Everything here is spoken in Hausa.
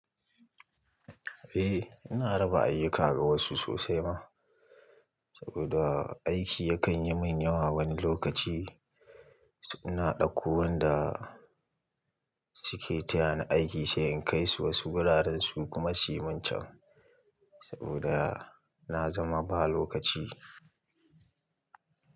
Eh ina raba ayuka ga wasu sosai ma, saboda aiki yakan yi min yawa wani lokaci. Ina ɗauko wanda suke taya ni aiki sai in kai su wasu wuraren su kuma su min can saboda na zama ba lokaci.